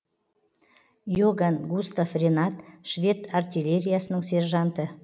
иоган густав ренат швед артиллериясының сержанты